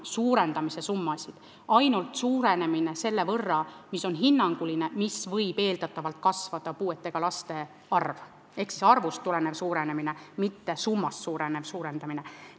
Suurenemine võib olla ainult hinnanguline, selle võrra, kui palju võib eeldatavalt kasvada puudega laste arv, ehk see on arvust tulenev suurenemine, mitte summast tulenev suurenemine.